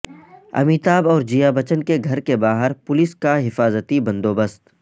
امیتابھ اور جیا بچن کے گھر کے باہر پولس کا حفاظتی بند و بست